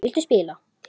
Viltu spila?